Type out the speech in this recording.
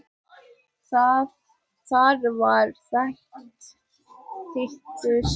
Þar var þokan þéttust.